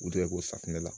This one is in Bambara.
U tɛ ko safunɛ la